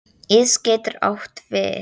Ís getur átt við